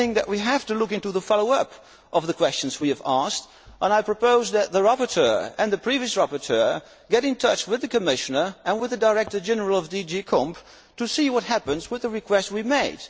I think that we have to look into the follow up to the questions we have asked, and I propose that the rapporteur and the previous rapporteur get in touch with the Commissioner and with the Director General of DG COMP to see what happens with the request we made.